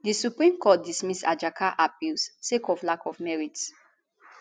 di supreme court dismiss ajaka appeal sake of lack of merit